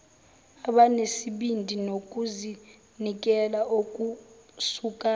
abanesibindi nokuzinikela okusuka